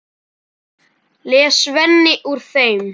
les Svenni úr þeim.